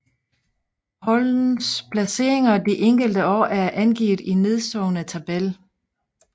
Holdenes placeringer de enkelte år er angivet i nedenstående tabel